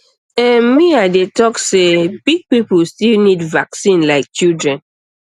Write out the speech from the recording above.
ehm me i dey talk say um big people still need vaccine like children